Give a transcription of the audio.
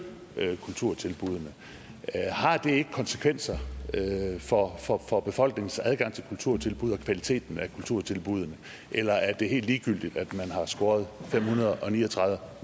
kulturtilbuddene har det ikke konsekvenser for for befolkningens adgang til kulturtilbud og kvaliteten af kulturtilbuddene eller er det helt ligegyldigt at man har skåret fem hundrede og ni og tredive